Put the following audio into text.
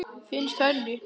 Finnst henni.